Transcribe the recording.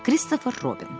Kristofer Robin.